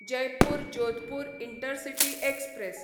Jaipur Jodhpur intercity express